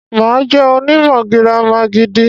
Mà á jẹ́ onímọ̀ gírámà gidi.